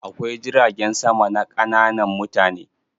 Akwai jiragen sama na ƙananan mutane.